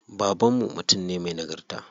Baban mu mutum ne me nagarta.